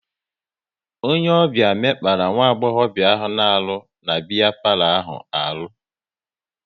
Onye ọbịa mekpara nwagbobia na-arụ na biya palo ahụ arụ